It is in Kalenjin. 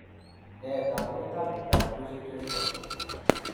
Nee taakunetaab myondap Lucey Driscoll?